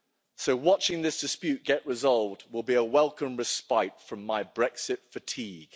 So watching this dispute get resolved will be a welcome respite from my Brexit fatigue.